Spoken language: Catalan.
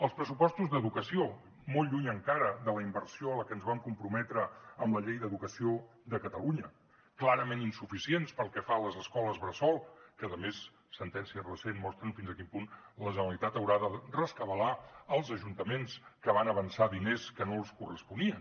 els pressupostos d’educació molt lluny encara de la inversió a la que ens vam comprometre amb la llei d’educació de catalunya clarament insuficients pel que fa a les escoles bressol que a més sentències recents mostren fins a quin punt la generalitat haurà de rescabalar els ajuntaments que van avançar diners que no els corresponien